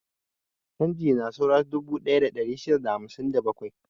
Canji na saura dubu ɗaya da ɗari shida da hamsin da bakwai.